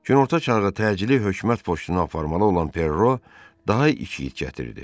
Günorta Çağı təcili hökumət qoşqulanan Perro daha iki igid gətirdi.